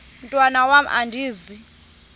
mntwan am andizi